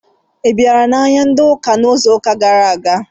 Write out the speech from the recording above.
Ị bịara n'ahịa di n'Ọká n'izuụka gara aga?